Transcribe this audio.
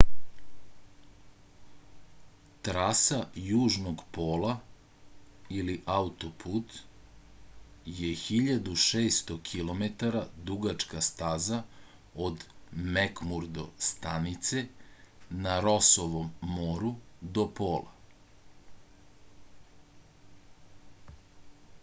траса јужног пола или аутопут је 1600 km дугачка стаза од мекмурдо станице на росовом мору до пола